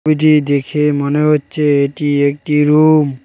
এটি দেখে মনে হচ্ছে এটি একটি রুম ।